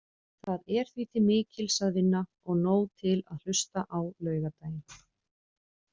Það er því til mikils að vinna og nóg til að hlusta á laugardaginn.